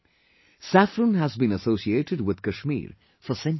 Saffron has been associated with Kashmir for centuries